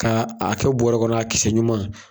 Ka a kɛ bɔrɔ kɔnɔ a kisɛ ɲuman.